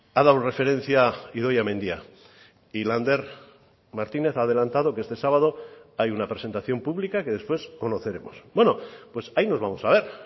ha dado referencia idoia mendia y lander martínez ha adelantado que este sábado hay una presentación pública que después conoceremos bueno pues ahí nos vamos a ver